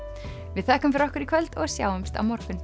við þökkum fyrir okkur í kvöld og sjáumst á morgun